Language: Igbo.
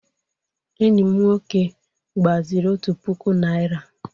Enyi m nwoke gbaziri otu puku Naịra.